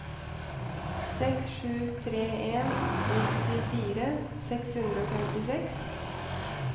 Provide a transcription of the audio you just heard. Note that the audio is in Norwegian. seks sju tre en nittifire seks hundre og femtiseks